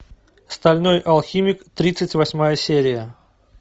стальной алхимик тридцать восьмая серия